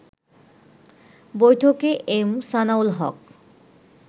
বৈঠকে এম সানাউল হক